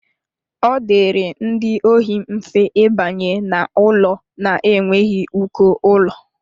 Ọ dịịrị ndị ohi mfe ịbanye n'ụlọ na-enweghị uko ụlọ